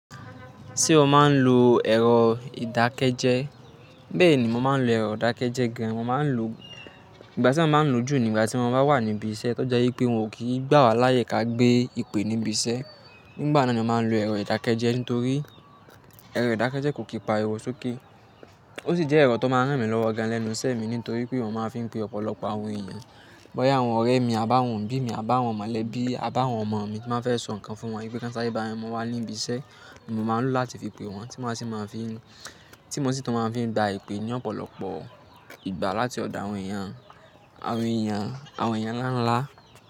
Ṣé o máa ń lo ẹ̀rọ ìdákẹ́jẹ́? Bẹ́ẹ̀ ni mo máa ń lo ẹ̀rọ ìdákẹ́jẹ́ gan. Mo máa ń lo ìgbà tí maa máa ń lo jù nígbà tí mo bá wà ní ibi iṣẹ́, tó je i pé wòn kí gbà wá láyé ká gbé ìpè níbi iṣẹ́. Ngbà náà ni eeyan máa ń lo ẹ̀rọ ìdákẹ́jẹ́ ntorí ẹ̀rọ ìdákẹ́jẹ́ kò kí pa ariwọ́ sókè. Ó sì jẹ́ ẹ̀rọ tó máa ń ràn mí lọ́wọ́ gan le nuṣẹ mí nítorí pé oun máa ń fi pe ọ̀pọ̀lọpọ̀ àwọn èèyàn. Bọ́yá àwọn ọ̀rẹ́ mi, àbáwọ̀n obí mi, àbáwọ̀n mọ̀lẹ́bí, àbáwọ̀n ọmọ mi tí máa ń fẹ́ sọ nǹkan fún wọn. Bí kàn sare bá n mu wà ní ibi iṣẹ́, oun mi máa ń lò láti fi pe wọ́n tí máa si maa fi n, tí mo sì tún máa fi n gba ìpè ní ọ̀pọ̀lọpọ̀ ìgbà láti ọ̀dọ̀ àwọn èèyàn, àwọn èèyàn, àwọn èèyàn ńlá ńlá.